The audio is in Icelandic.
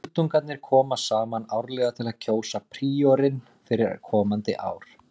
Öldungarnir koma saman árlega til að kjósa príorinn fyrir komandi ár.